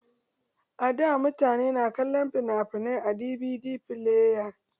A da mutane na kallon fina-finai a DVD fileya